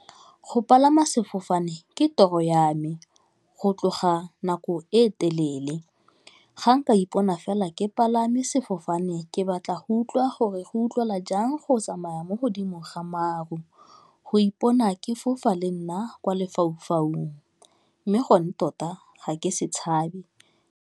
Go palama sefofane ke toro ya me go tloga nako e telele, ga nka ipona fela ke palame sefofane, ke batla go utlwa go re go utlwala jang go tsamaya mo godimo ga maru, go ipona ke fofa le nna kwa lefaufaung mme gone tota ga ke se tshabe.